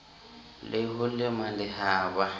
le ho lema le haba